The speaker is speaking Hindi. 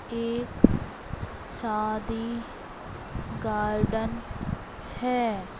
एक शादी गार्डन है।